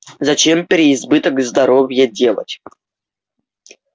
зачем переизбыток здоровья делать